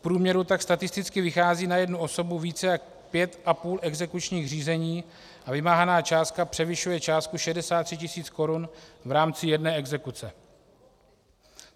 V průměru tak statisticky vychází na jednu osobu více jak pět a půl exekučních řízení a vymáhaná částka převyšuje částku 63 000 korun v rámci jedné exekuce.